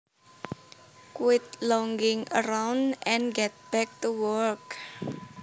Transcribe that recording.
Quit lounging around and get back to work